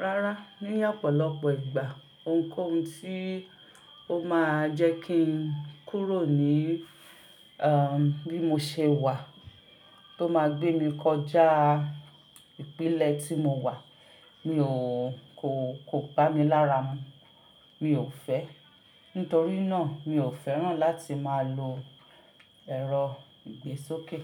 Rárá, ní ọ̀pọ̀lọpọ̀ ìgbà ohunkóhun tí ó máa jẹ́ kí n kúrò ní à bí mo ṣe wà tó máa gbé mi kọjá ìpínlẹ̀ tí mo wà, mi ò kó kó bá mi lára mú. Mi ò fẹ́. Nítorí náà mi ò fẹ́ràn láti máa lo ẹ̀rọ ìgbésókè.